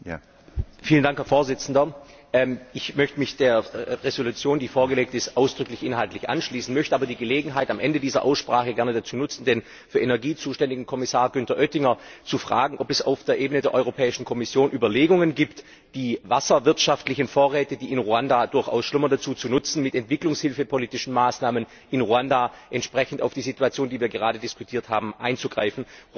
Herr Präsident! Ich möchte mich der Entschließung, die vorgelegt ist, ausdrücklich inhaltlich anschließen, möchte aber die Gelegenheit am Ende dieser Aussprache gerne dazu nutzen, den für Energie zuständigen Kommissar Günther Oettinger zu fragen, ob es auf der Ebene der Europäischen Kommission Überlegungen gibt, die wasserwirtschaftlichen Vorräte, die in Ruanda durchaus schlummern, dazu zu nutzen, mit entwicklungshilfepolitischen Maßnahmen in Ruanda entsprechend auf die Situation, die wir gerade diskutiert haben, einzuwirken.